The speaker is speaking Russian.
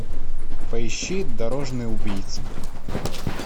поищи дорожный убийца